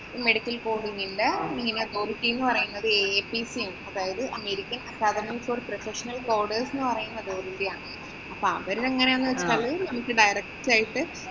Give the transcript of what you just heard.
medical coding ന്‍റെ Authority പറയുന്നത് APC ആണ്. അതായത് American several for professional coders എന്ന് പറയുന്ന board ന്‍റെ ആണ്. അപ്പൊ അവര് ഇതെങ്ങനെയെന്നു വച്ചാല് direct ആയിട്ട്